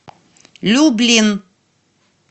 люблин